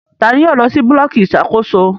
Tani yóò lọ si bulọọki iṣakoso?